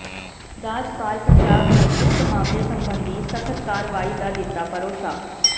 ਰਾਜਪਾਲ ਪੰਜਾਬ ਨੇ ਉਕਤ ਮਾਮਲੇ ਸਬੰਧੀ ਸਖਤ ਕਾਰਵਾਈ ਦਾ ਦਿੱਤਾ ਭਰੋਸਾ